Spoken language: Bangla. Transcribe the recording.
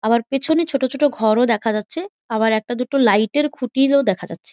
আবার পেছনে ছোট ছোট ঘরও দেখা যাচ্ছে আবার একটা দুটো লাইট এর খুঁটিরও দেখা যাচ্ছে।